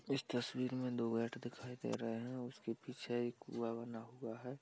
इस तस्वीर में दो गेट दिखाई दे रहे हैं। उसके पीछे एक कुआँ बना हुआ है।